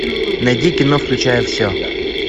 найди кино включая все